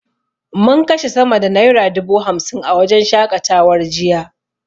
Mun kashe sama da naira dubu hamsin a wajen shaƙatawar jiya.